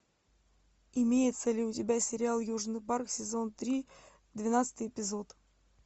имеется ли у тебя сериал южный парк сезон три двенадцатый эпизод